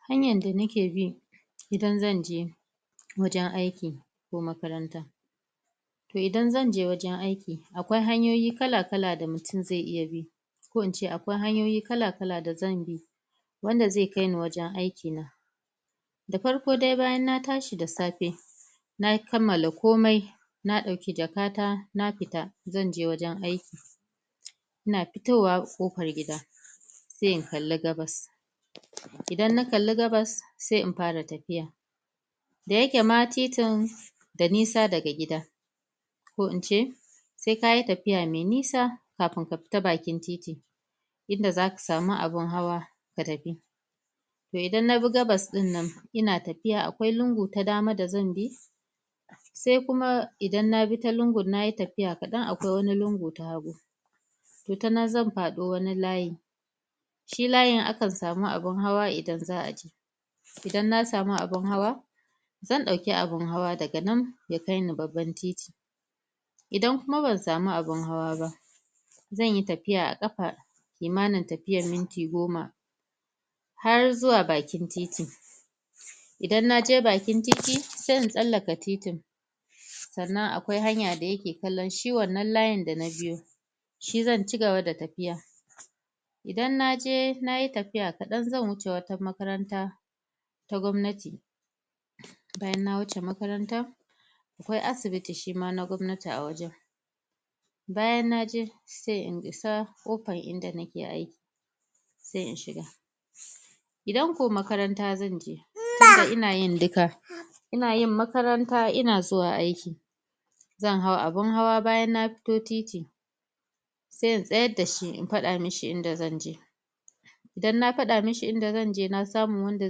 Hanyar da na ke bi, idan zan je wajen aiki ko makaranta Toh idan zan je wajen aiki akwai hanyoyi kalla kalla da mutum zai iya bi ko in ce akwai hanyoyi kalla kalla da zan bi wanda zai kai ni wajen aiki da farko dai bayan na tashi da safe na yi kamala komai na dauki jaka ta, na fita zan je wajen aiki ina fitowa kofar gida sai in kalla gabbas idan na kalli gabbas, sai in fara tafiya. Da ya ke ma titin da nisa da ga gida ko in ce sai ka yi tafiya mai nisa kafun ka fita bakin titi inda za ka samu abun hawa ka tafi toh idan na bi gabbas dinnan ina tafiya akwai lungu ta dama da zan bi sai kuma idan na bi ta lungun na yi tafiya kadan akwai wani lungu ta hagu toh a nan zan fado wani layyin shi layyin a kan samu abun hawa idan zaa je idan na samu abun hawa zan dauki abun hawa da ga nan, ya kai ni babban titi. Idan kuma ba samu abun hawa ba zan yi tafiya a kafa, imanar tafiya minti goma har zu wa bakin titi idan na je bakin titi, sai un tsalaka titin tsannan akwai hanya da ya ke kallon shi wannan layyin da na biyo shi zan cigaba da tafiya idan na je, na yi tafiya kadan za wucce wata makaranta ta gwamnati bayan na wuce makarantan akwai asibiti shi ma na gwamnati a wajen bayan na je sai un isa kofar inda na ke aiki sai in shiga. Idan ko makaranta zan je, tun da ina yin dukka ina yin makaranta, ina zuwa aiki zan haw abun hawa bayan na fito titi sai in sayar da shi in fada mishi inda zan je. idan na fada mishi in da zan je, na samu wanda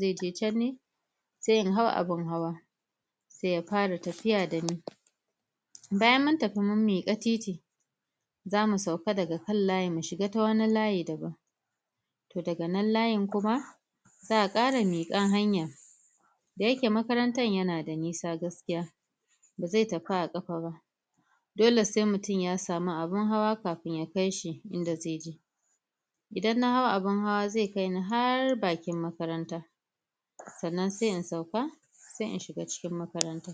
zai ta can ne sai in haw abun hawa sai ya fara tafiya da ni bayan mun tafi mun mika tit zamu sauka da ga kan layyi mu shiga ta wani layyi daban toh da ga nan laayyin kuma zaa kara mikan hanya da ya ke makarantan ya na da nisa gaskiya ba zai tafu a kasa ba dole sai mutum ya samu abu, abun hawa kafun ya kai shi inda zai je idan na haw abun hawa, zai kai ni har baki makaranta. tsannan sai in sauka, sai in shiga cikin makaranta.